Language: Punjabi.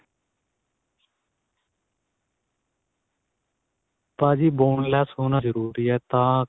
ਭਾਜੀ boneless ਹੋਣਾ ਜਰੂਰੀ ਏ ਤਾਂ